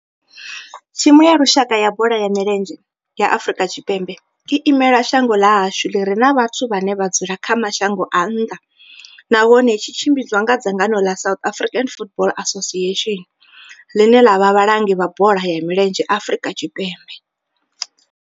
Thimu ya lushaka ya bola ya milenzhe ya Afrika Tshipembe i imela shango ḽa hashu ḽi re na vhathu vhane vha dzula kha mashango a nnḓa nahone tshi tshimbidzwa nga dzangano la South African Football Association, line la vha vhalangi vha bola ya milenzhe Afrika Tshipembe.